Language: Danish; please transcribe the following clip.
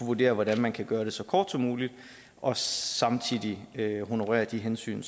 vurdere hvordan man kan gøre det så kort som muligt og samtidig honorere de hensyn